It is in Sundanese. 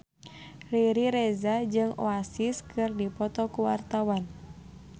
Riri Reza jeung Oasis keur dipoto ku wartawan